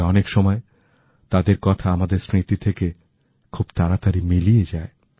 তবে অনেক সময় তাদের কথা আমাদের স্মৃতি থেকে খুব তাড়াতাড়ি মিলিয়ে যায়